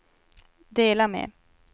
dela med